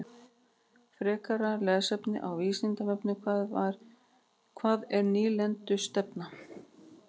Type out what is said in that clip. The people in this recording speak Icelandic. Frekara lesefni á Vísindavefnum: Hvað er nýlendustefna?